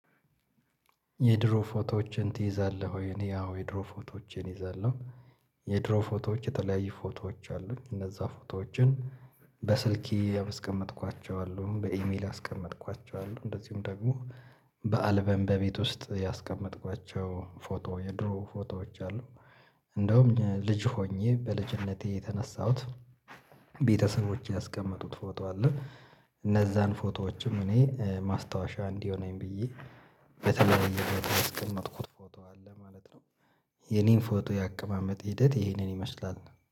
የድሮ ፎቶዎችህን ትይዛለህ ወይ? እኔ አዎ የድሮ ፎቶዎቼን እይዛለው። የድሮ ፎቶዎች የተለያዩ ፎቶዎች አሉኝ። እነዛ ፎቶዎችን በስልኬ ያስቀመጥኳቸው አሉ በኢሜል ያስቀመጥኳቸው አሉ እንደዚሁም ደግሞ በአልበም በቤት ውስጥ ያስቀመጥኳቸው ፎቶ የድሮ ፎቶዎች አሉ። እንደውም ልጅ ሆኜ በልጅነቴ የተነሳሁት ቤተሰቦቼ ያስቀመጡት ፎቶ አለ። እነዛን ፎቶዎችም እኔ ማስታወሻ እንዲሆነኝ ብዬ በተለያየ ቦታ ያስቀመጥኩት ፎቶ አለ ማለት ነው። የኔን ፎቶ የአቀማመጥ ሂደት ይሄንን ይመስላል።